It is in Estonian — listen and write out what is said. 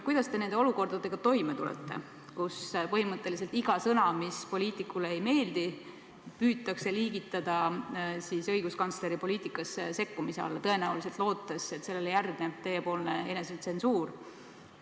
Kuidas te nende olukordadega toime tulete, kus põhimõtteliselt iga sõna, mis poliitikule ei meeldi, püütakse liigitada õiguskantsleri poliitikasse sekkumise alla, tõenäoliselt lootes, et sellele järgneb teie poolt enesetsensuur?